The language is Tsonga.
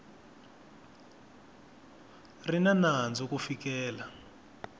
ri na nandzu ku fikela